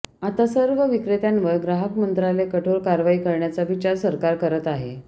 आता या सर्व विक्रेत्यांवर ग्राहक मंत्रालय कठोर कारवाई करण्याचा विचार सरकार करत आहे